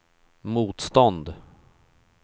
motstånd